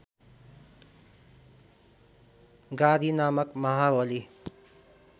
गाधि नामक महाबली